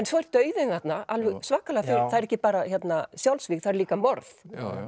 svo er dauðinn þarna alveg svakalega það er ekki bara þarna sjálfsvíg það eru líka morð